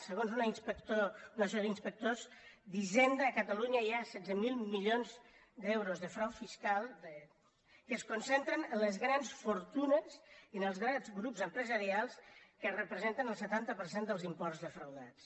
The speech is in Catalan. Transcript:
segons una associació d’inspectors d’hisenda a catalunya hi ha setze mil milions d’euros de frau fiscal que es concentren en les grans fortunes i en els grans grups empresarials que representen el setanta per cent dels imports defraudats